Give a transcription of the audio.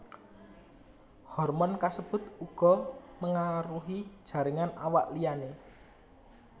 Hormon kasebut uga mengaruhi jaringan awak liyané